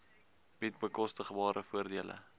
bied bekostigbare voordele